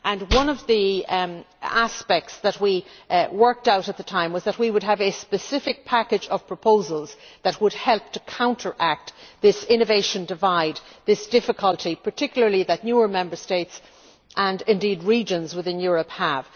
One of the aspects that we worked out at the time was that we would have a specific package of proposals that would help to counteract this innovation divide, this difficulty that particularly newer Member States and indeed regions within Europe have.